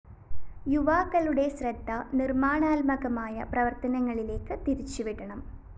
യുവാക്കളുടെ ശ്രദ്ധ നിര്‍മാണാത്മകമായ പ്രവര്‍ത്തനങ്ങളിലേക്ക് തിരിച്ചുവിടണം